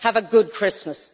Have a good Christmas.